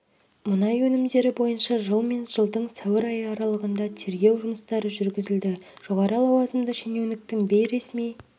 мұнай өнімдері бойынша жыл мен жылдың сәуір айы аралығында тергеу жұмыстары жүргізілді жоғары лауазымды шенеуніктің бейресми